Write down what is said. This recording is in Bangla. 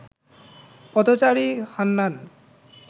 পথচারী হান্নান